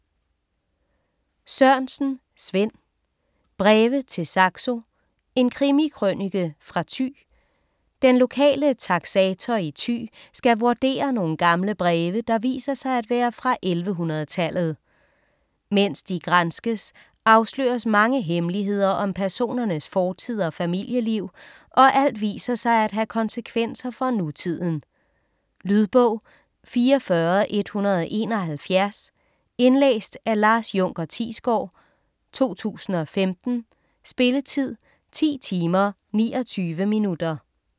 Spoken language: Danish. Sørensen, Svend: Breve til Saxo: en krimikrønike fra Thy Den lokale taksator i Thy skal vurdere nogle gamle breve, der viser sig at være fra 1100-tallet. Mens de granskes, afsløres mange hemmeligheder om personernes fortid og familieliv, og alt viser sig at have konsekvenser for nutiden. Lydbog 44171 Indlæst af Lars Junker Thiesgaard, 2015. Spilletid: 10 timer, 29 minutter.